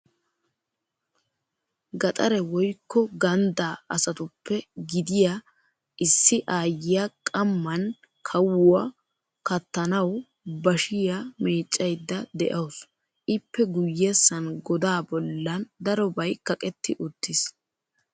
Gaxare woykko ganddaa asatuppe gidiya issi aayyiya qammaan kahuwa kattanawu bashiyaa meeccaydda de'awusu. Ippe guyyessan godaa bollan darobay kaqetti uttiis.